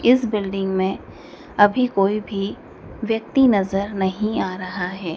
इस बिल्डिंग में अभी कोई भी व्यक्ति नजर आ रहा है।